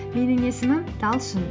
менің есімім талшын